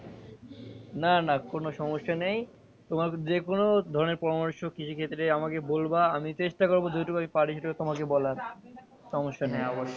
না না কোনো সমস্যা নেই তোমার যেকোনো ধরনের পরামর্শ কৃষি ক্ষেত্রে আমাকে বলবা আমি চেষ্টা করবো যেটুকু পারি তোমাকে বলবার সমস্যা নেই।